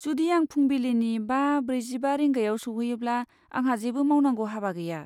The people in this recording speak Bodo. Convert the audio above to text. जुदि आं फुंबिलिनि बा ब्रैजिबा रिंगायाव सौहैयोब्ला आंहा जेबो मावनांगौ हाबा गैया।